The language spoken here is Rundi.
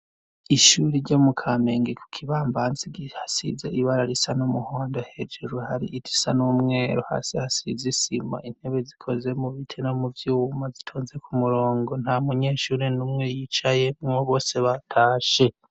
Ishuri ryo mu kamenge ku kibambansi hasiza ibara risa n'umuhondo hejeru hari iti sa n'umweru hasi hasizisima intebe zikoze mu bite no muvyuma zitonze ku murongo nta munyeshuri n'umwe yicaye mwo bose batashe.